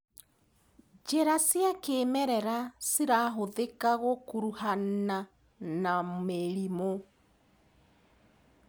Njĩra cia kĩmerera cirahũthika gũkuruhana na mĩrimũ.